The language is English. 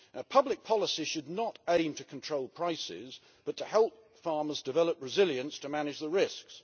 Public policy should not aim to control prices but to help farmers develop resilience to manage the risks.